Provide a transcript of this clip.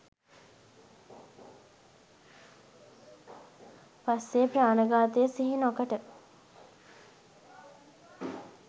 පස්සේ ප්‍රාණඝාතය සිහි නොකොට